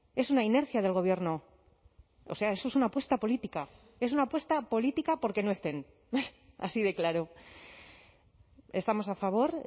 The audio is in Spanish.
es una inercia del gobierno o sea eso es una apuesta política es una apuesta política por que no estén así de claro estamos a favor